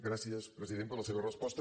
gràcies president per la seva resposta